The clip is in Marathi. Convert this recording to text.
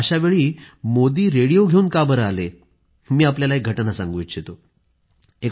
अशावेळी मोदी रेडिओ घेवून का बरं आले मी आपल्याला एक घटना सांगू इच्छितो